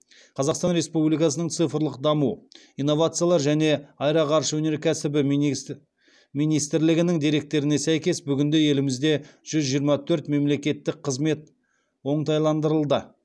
қазақстан республикасының цифрлық даму инновациялар және аэроғарыш өнеркәсібі министрлігінің деректеріне сәйкес бүгінде елімізде жүз жиырма төрт мемлекеттік қызмет оңтайландырылды